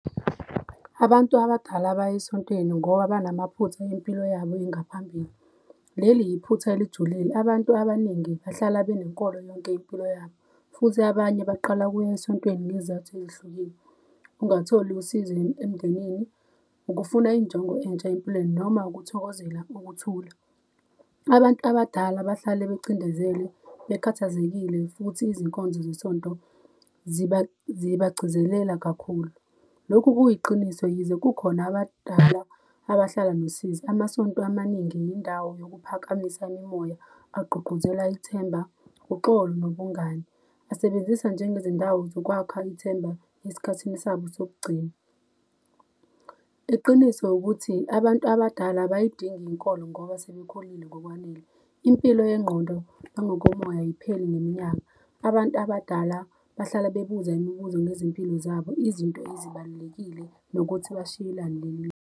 Abantu abadala bay'esontweni ngoba banamaphuth'mpilo yabo engaphambili. Leli yiphutha elijulile abantu abaningi bahlala benenkolo yonke impilo yabo futhi abanye baqala ukuy'esontweni ngezizathu ezihlukile ungatholi usizi emndenini, ukufuna injongo entsha empilweni noma ukuthokozela ukuthula. Abantu abadala bahlale becindezelwe, bekhathazekile futhi izinkonzo zesonto zibagcizelela kakhulu, lokhu kuyiqiniso yize kukhona abadala abahlala nosizi. Amasonto amaningi yindawo yokuphakamisa imimoya agqugquzela ithemba uxolo nobungani asebenzisa njengezindawo zokwakha ithemba esikhathini sabo sokugcina. Iqiniso ukuthi abantu abadala abayidingi inkolo ngoba sebekhulile ngokwanele impilo yengqondo nangokomoya ayipheli neminyaka. Abantu abadala bahlala bebuza imibuzo ngezimpilo zabo izinto ezibalulekile nokuthi bashiyelani .